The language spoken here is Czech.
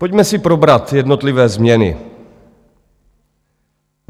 Pojďme si probrat jednotlivé změny.